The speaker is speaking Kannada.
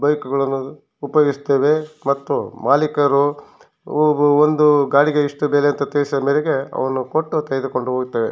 ಬೈಕ್ ಗಳು ಮತ್ತು ಮಾಲೀಕರು ಗಾಡಿಗೆ ಇಂತಿಷ್ಟು ಬೆಲೆ ತಿಳಿಸಿದ ಮೇಲೆ ಅವನ್ನು ಕೊಟ್ಟು ತೆಗೆದುಕೊಂಡು ಹೋಗುತ್ತವೆ.